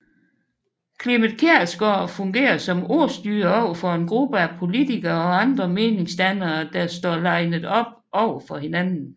Clement Kjersgaard fungerer som ordstyrer overfor en gruppe af politikere og andre meningsdannere der står linet op over for hinanden